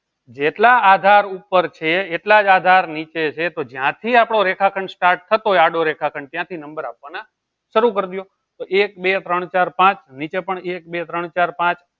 જેટલા આધાર ઉપર છે એટલા જ આધાર નીચે છે તો જ્યાંથી આપણો રેખાખંડ start થતો હોય આડો રેખાખંડ ત્યાંથી number આપવાના શરૂ કરી દો તો એક બે ત્રણ ચાર પાંચ નીચે પણ એક બે ત્રણ ચાર પાંચ